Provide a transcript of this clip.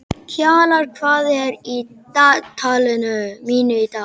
Kjalar, hvað er á dagatalinu mínu í dag?